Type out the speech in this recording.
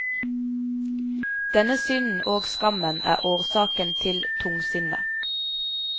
Denne synden og skammen er årsaken til tungsinnet.